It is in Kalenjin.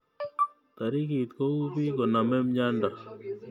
Taritik kou bik koname myondo